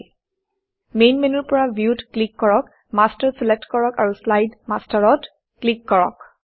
main main মেনুৰ পৰা view ভিউতক্লিক কৰক মাষ্টাৰ মাষ্টাৰচিলেক্ট কৰক আৰু শ্লাইড মাষ্টাৰ শ্লাইড মাষ্টাৰত ক্লিক কৰক